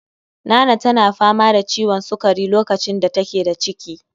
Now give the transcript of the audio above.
Nana tana fama da ciwon sukari lokacin da take da ciki